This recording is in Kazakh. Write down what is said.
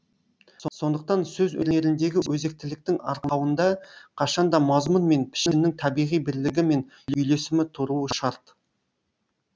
сондықтан сөз өнеріндегі өзектіліктің арқауында қашанда мазмұн мен пішіннің табиғи бірлігі мен үйлесімі тұруы шарт